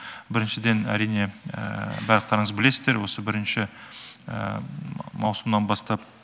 біріншіден әрине барлықтарыңыз білесіздер осы бірінші маусымнан бастап